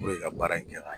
ka baara in kɛ ka ɲɛ